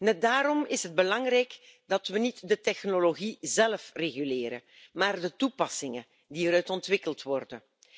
Net daarom is het belangrijk dat we niet de technologie zelf reguleren, maar de toepassingen die eruit ontwikkeld worden.